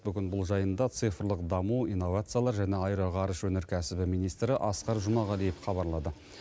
бүгін бұл жайында цифрлық даму инновациялар және аэроғарыш өнеркәсібі министрі асқар жұмағалиев хабарлады